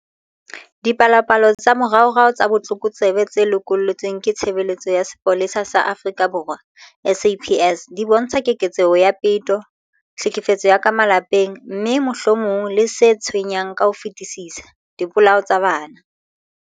Dipalopalo tsa moraorao tsa botlokotsebe tse lokollotsweng ke Tshebeletso ya Sepolesa sa Afrika Borwa, SAPS, di bontsha keketseho ya peto, tlhekefetso ya ka malapeng, mme, mohlomong le se tshwenyang ka ho fetisisa, dipolao tsa bana.